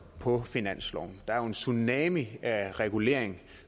på finansloven der er jo en tsunami af reguleringer